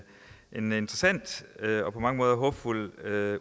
en interessant og på mange måder håbefuld